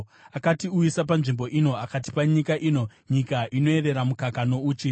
Akatiuyisa panzvimbo ino akatipa nyika ino, nyika inoyerera mukaka nouchi.